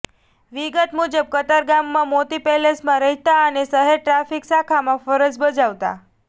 વિગત મુજબ કતારગામમાં મોતી પેલેસમાં રહેતા અને શહેર ટ્રાફિક શાખામાં ફરજ બજાવતા